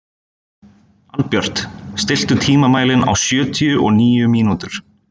Albjört, stilltu tímamælinn á sjötíu og níu mínútur.